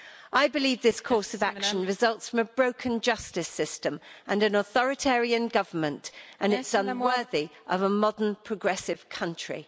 I believe this course of action results from a broken justice system and an authoritarian government, and it's unworthy of a modern, progressive country.